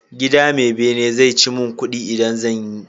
Gida me bene zai ci mun kudi idan zanyi